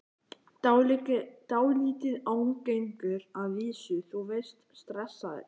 Dálítið ágengir að vísu, þú veist, stressaðir.